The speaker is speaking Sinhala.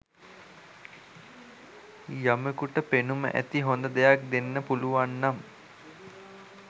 යමෙකුට පෙනුම ඇති හොඳ දෙයක් දෙන්න පුළුවන් නම්